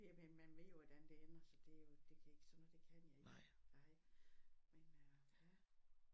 Jamen man ved jo hvordan det ender så det jo det kan ikke sådan noget det kan jeg ikke ej men øh ja